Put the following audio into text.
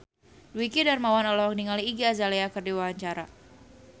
Dwiki Darmawan olohok ningali Iggy Azalea keur diwawancara